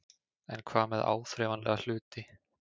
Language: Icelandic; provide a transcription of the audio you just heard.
En hvað með áþreifanlega hluti?